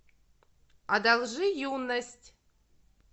одолжи юность